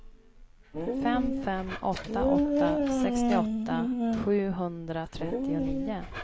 fem fem åtta åtta sextioåtta sjuhundratrettionio